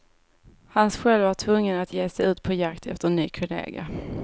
Hans själv var tvungen att ge sig ut på jakt efter en ny kollega.